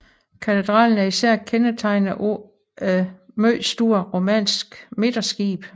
Katedralen er især kendetegnet af et meget stort romansk midterskib